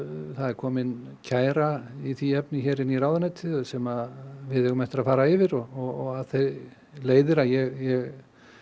það er komin kæra í því efni inn í ráðuneytið sem við eigum eftir að fara yfir og af því leiðir að ég